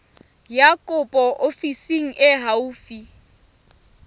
ya kopo ofising e haufi